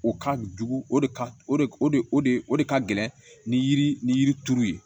O ka jugu o de ka o de o de o de o de ka gɛlɛn ni yiri ni yiri turu ye